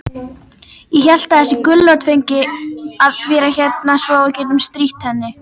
Ég hélt að þessi gulrót fengi að vera hérna svo við gætum strítt henni.